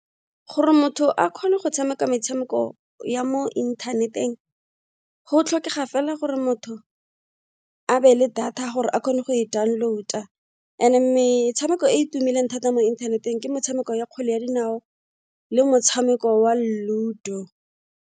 Gore motho a kgone go tshameka metshameko ya mo inthaneteng go tlhokega fela gore motho a be le data ya gore a kgone go e download-a and metshameko e e tumileng thata mo inthaneteng ke metshameko ya kgwele ya dinao le motshameko wa Ludo.